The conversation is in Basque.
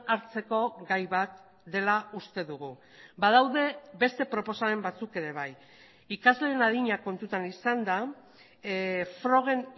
hartzeko gai bat dela uste dugu badaude beste proposamen batzuk ere bai ikasleen adina kontutan izanda frogen